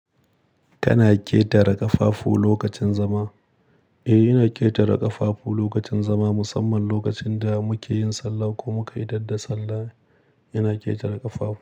Kana ƙetare ƙafafu lokacin zama? Eh, ina ƙetare ƙafafu lokacin zama, musamman lokacin da muke yin sallah ko muka 'idadda sallah, ina ƙetare ƙafafu.